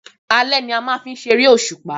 Alé ni a máa ń ṣe eré òṣùpá